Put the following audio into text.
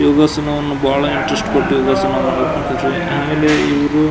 ಯೋಗಾಸನವನ್ನು ಬಹಳ ಇಂಟರೆಸ್ಟ್ ಕೊಟ್ಟು ಯೋಗಾಸನ ಮಾಡುತ್ತಿದ್ದೇವೆ ಆಮೇಲೆ ಇವ್ರು --